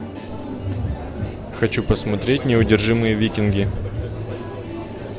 хочу посмотреть неудержимые викинги